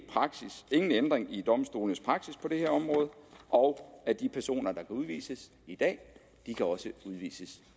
ændring i domstolenes praksis på det her område og at de personer der kan udvises i dag også kan udvises